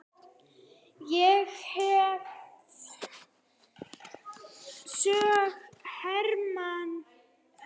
Á eftir söng Hermann